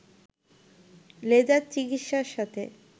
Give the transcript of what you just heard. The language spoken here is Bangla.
লেজার চিকিৎসার সাথে